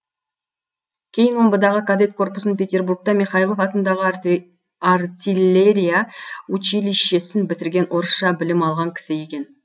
кейін омбыдағы кадет корпусын петербургта михайлов атындағы артиллерия училищесін бітірген орысша білім алған кісі екен